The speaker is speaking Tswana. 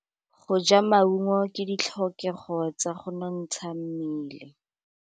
Go ja maungo ke ditlhokegô tsa go nontsha mmele.